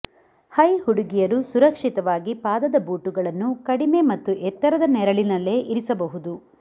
high ಹುಡುಗಿಯರು ಸುರಕ್ಷಿತವಾಗಿ ಪಾದದ ಬೂಟುಗಳನ್ನು ಕಡಿಮೆ ಮತ್ತು ಎತ್ತರದ ನೆರಳಿನಲ್ಲೇ ಇರಿಸಬಹುದು